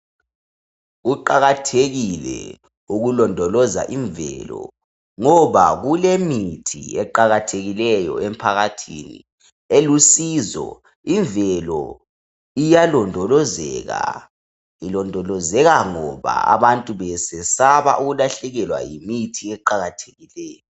Kuqakathekile ukulondoloza imvelo ngoba kulemithi eqakathekileyo emphakathini elusizo imvelo iyalondolozeka ilondolozeka ngoba abantu besesaba ukulahlekelwa yimithi eqakathekileyo.